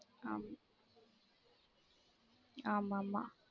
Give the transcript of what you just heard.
ஆமா ஆமா மா